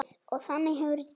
Og þannig hefur þetta gengið.